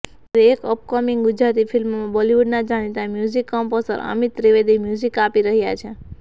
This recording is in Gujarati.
ત્યારે એક અપકમિંગ ગુજરાતી ફિલ્મમાં બોલીવુડના જાણીતા music composer Amit Trivedi music આપી રહ્યા છે